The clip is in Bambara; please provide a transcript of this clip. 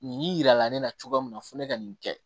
Nin yira la ne na cogoya min na fo ne ka nin kɛ